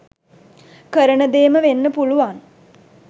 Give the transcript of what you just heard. කරන දේම වෙන්න පුළුවන්.